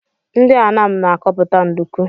Ndị Anam na akọpụta nduku.